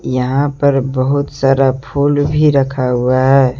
यहां पर बहुत सारा फूल भी रखा हुआ है।